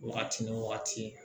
Wagati ni wagati